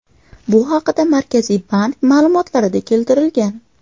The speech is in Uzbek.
Bu haqda Markaziy bank ma’lumotlarida keltirilgan.